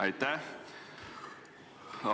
Aitäh!